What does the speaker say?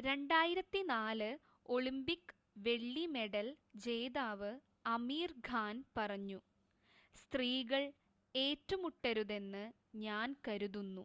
"2004 Olympic വെള്ളി medal ജേതാവ് അമീർ ഖാൻ പറഞ്ഞു "സ്ത്രീകൾ ഏറ്റുമുട്ടരുതെന്ന് ഞാൻ കരുതുന്നു.